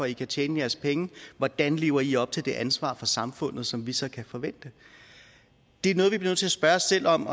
de kan tjene deres penge hvordan lever de op til det ansvar over for samfundet som vi så kan forvente det er noget vi bliver nødt til at spørge os selv om